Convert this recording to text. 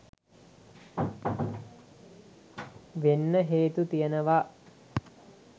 වෙන්න හේතු තියනවා